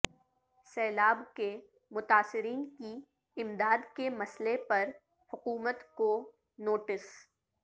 سیلاب کے متاثرین کی امداد کے مسئلہ پر حکومت کو نوٹس